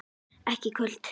Ekki í kvöld.